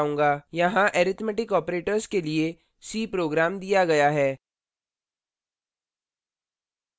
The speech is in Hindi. यहाँ arithmetic operators के लिए c program दिया गया है